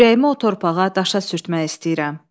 Ürəyimi o torpağa, daşa sürtmək istəyirəm.